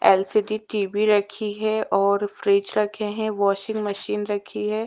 LCD TV रखी है और फ्रिज रखे है वाशिंग मशीन रखी हुई है।